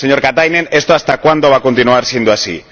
Señor Katainen, esto ¿hasta cuándo va continuar siendo así?